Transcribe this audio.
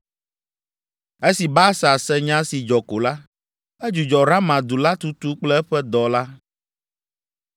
Esi Baasa se nya si dzɔ ko la, edzudzɔ Rama du la tutu kple eƒe dɔ la.